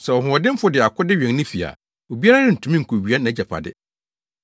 “Sɛ ɔhoɔdenfo de akode wɛn ne fi a, obiara rentumi nkowia nʼagyapade;